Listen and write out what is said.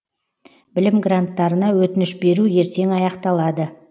білім гранттарына өтініш беру ертең аяқталады